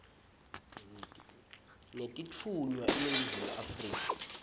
netitfunywa eningizimu afrika